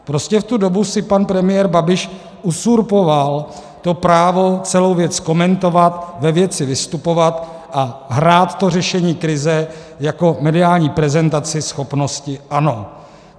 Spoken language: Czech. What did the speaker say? Prostě v tu dobu si pan premiér Babiš uzurpoval to právo celou věc komentovat, ve věci vystupovat a hrát to řešení krize jako mediální prezentaci schopnosti ANO.